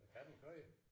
Kan den køre?